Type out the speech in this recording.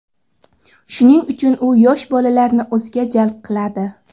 Shuning uchun u yosh bolalarni o‘ziga jalb qiladi.